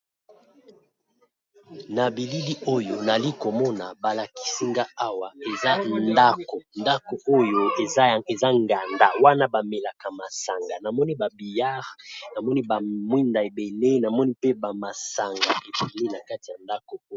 Na bilili oyo nali komona ba lakisi nga awa eza ndako, ndako oyo eza nganda wana ba melaka masanga namoni ba billard namoni ba mwinda ebele namoni mpe ba masanga ebele na kati ya ndako oyo.